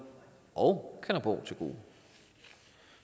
og kalundborg til gode